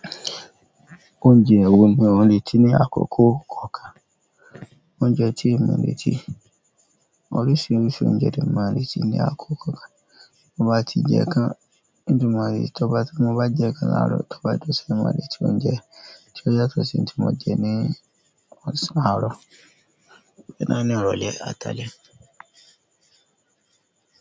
Oúnjẹ wo ni o reti ní àkókò kọ̀ọ̀kan? Oúnjẹ tí mo lè ti, oríṣiríṣi oúnjẹ ni mo lè ti ní àkókò kan. Mo bá ti jẹ kan, bí mo bá jẹ ikan làárọ̀, tọ́ bá dọ̀san mo lè ti oúnjẹ tí ó yàtọ̀ sí èyí tí mo jẹ ní ọ̀sán àárọ̀.